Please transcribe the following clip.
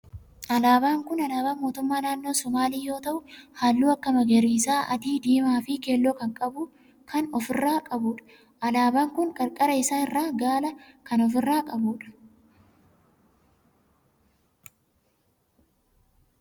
Alaabaan kun alaabaa mootummaa naannoo somaalii yoo ta'u halluu akka magariisa, adii, diimaa fi keelloo kan of irraa qabudha. Alaabaan kun qarqara isaa irraa gaala kan of irraa qabu dha.